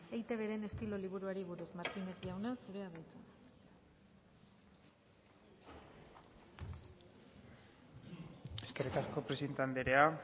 eitbren estilo liburuari buruz martínez jauna zurea da hitza eskerrik asko presidente andrea